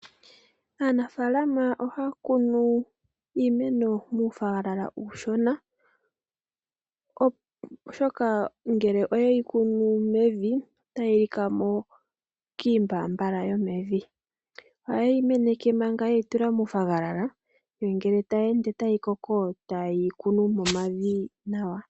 Aanafalama ohaya kunu iimeno muunayilona uushona oshoka ngele oye hi kunu mevi, otayi lika mo kiimbambala yomevi. Ohaye yi meneke manga ye yi tula muunayilona nde ngele tayi ende tayi koko taye yi kunu momavi nawa.